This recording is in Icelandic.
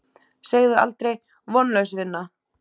Segðu aldrei: Vonlaus vinna!